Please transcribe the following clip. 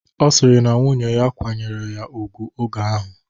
Ọ sịrị na nwunnye ya kwanyeru ya ugwu oge ahụ